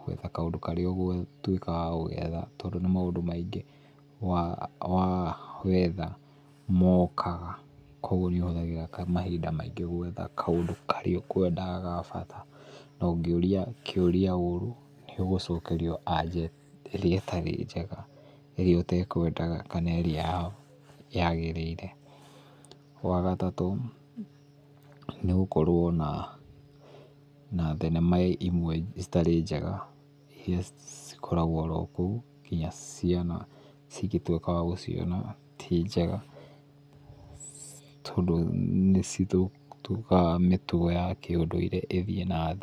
gwĩka kaũndũ karĩa ũgũtuĩka wa gũgetha tondũ nĩ maũndũ maingĩ wa wa wetha mokaga kwoga nĩũhũthagĩra mahinga maingĩ gwetha kaũndũ karĩa ũkwendaga ga bata. Na ũngĩũria kĩũria ũru nĩũgũcokerio aja ĩrĩa ĩtarĩ njega ĩrĩa ũtekwendaga kana ĩrĩa yagĩrĩire. Wagatatũ nĩgũkorwo na thinema imwe citarĩ njega iria cikoragwo orokũu iria ciana cingĩtuĩka wagũciona tinjega tondũ nĩcitũmaga mĩtugo ya ũndũire ĩthiĩ na thĩ.